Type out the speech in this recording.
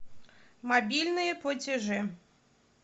мобильные платежи